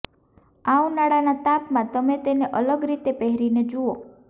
આ ઉનાળાના તાપમાં તમે તેને અલગ રીતે પહેરીને જુઓ